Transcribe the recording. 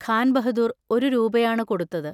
ഖാൻ ബഹദൂർ ഒരു രൂപയാണു കൊടുത്തത്.